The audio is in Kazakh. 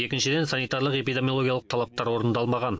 екіншіден санитарлық эпидемиологиялық талаптар орындалмаған